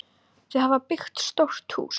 Þau hafa byggt stórt hús.